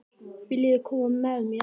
Viljiði koma með mér?